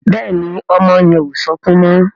Béèni ọmọ yen o sọkún mo